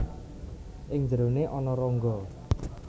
Ing njerone ana rongga